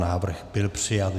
Návrh byl přijat.